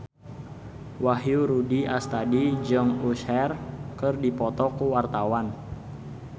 Wahyu Rudi Astadi jeung Usher keur dipoto ku wartawan